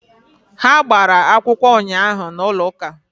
Ha gbara akwụkwọ ụnyaahụ n'ụlọ ụka